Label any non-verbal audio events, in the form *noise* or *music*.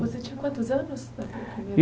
Você tinha quantos anos? *unintelligible*